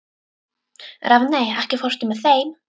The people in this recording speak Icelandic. Rafney, ekki fórstu með þeim?